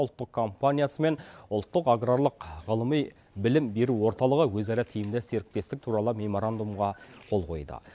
ұлттық компаниясы мен ұлттық аграрлық ғылыми білім беру орталығы өзара тиімді серіктестік туралы меморандумға қол қойды